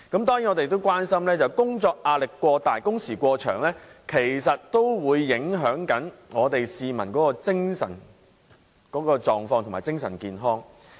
當然，我們關心工作壓力過大及工時過長影響市民的精神狀況和健康。